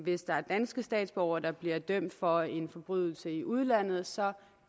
hvis der er danske statsborgere der bliver dømt for en forbrydelse i udlandet så